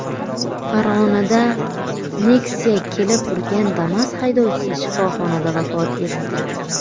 Farg‘onada Nexia kelib urgan Damas haydovchisi shifoxonada vafot etdi.